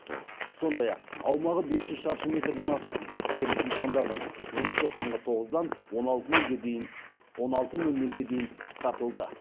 сондай ақ аумағы бес жүз шаршы метрден асатын кәсіпкерлік нысандардың жұмысы таңғы тоғыздан он алты нөл нөлге дейін қысқартылды